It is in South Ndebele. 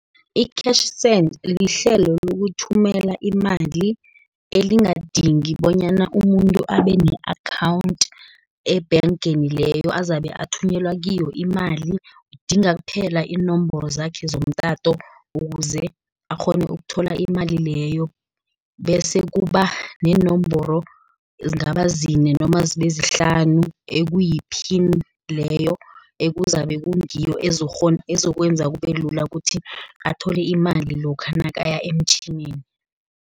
I-Cash Send, lihlelo lokuthumela imali, elingadingi bonyana umuntu abene-akhawunti ebhengeni leyo, azabe athunyelwa kiyo imali. Udinga kuphela iinomboro zakhe zomtato, ukuze akghone ukuthola imali leyo, bese kubaneenomboro ezingaba zine noma zibezihlanu ekuyiphini, leyo ekuzabe kungiyo ezokwenza kubelula ukuthi athole imali lokha nakaya emtjhinini.